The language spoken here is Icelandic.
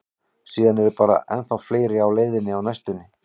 Síðan eru bara ennþá fleiri á leiðinni á næstunni.